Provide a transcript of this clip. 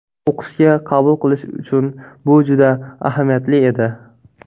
O‘qishga qabul qilish uchun bu juda ahamiyatli edi.